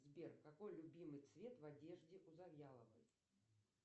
сбер какой любимый цвет в одежде у завьяловой